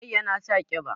Mai yana sa ƙiba